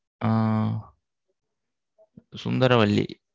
ஆஹ் Sundaravalli.